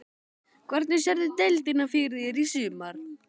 Hvernig sérðu deildina fyrir þér í sumar?